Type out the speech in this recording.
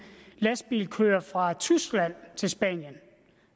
lastbil kører fra tyskland til spanien